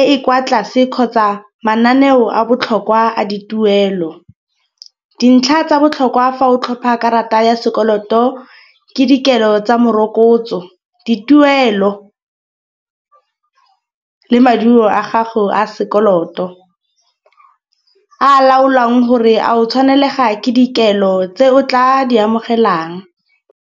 e e kwa tlase kgotsa mananeo a botlhokwa a dituelo. Dintlha tsa botlhokwa fa o tlhopha karata ya sekoloto ke dikelo tsa merokotso, dituelo le maduo a gago a sekoloto a laolwang gore a o tshwanelega ke dikelo tse o tla di amogelang.